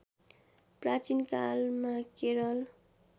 प्राचीनकालमा Kerala